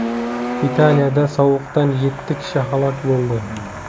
Italiyada sovuqdan yetti kishi halok bo‘ldi.